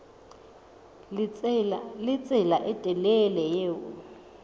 le tsela e telele eo